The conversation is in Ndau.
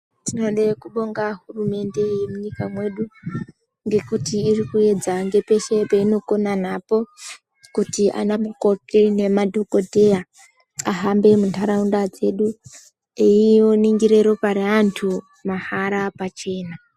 Tinode kubonga hurumende yemunyika mwedu ngekuti irikuedza ngepeshe painokona napo kuti anamukoti nemadhokodheya ahambe mundaraunda dzedu einingira ropa revantu mahala pachena.